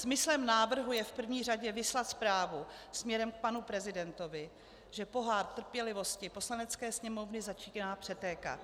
Smyslem návrhu je v první řadě vyslat zprávu směrem k panu prezidentovi, že pohár trpělivosti Poslanecké sněmovny začíná přetékat.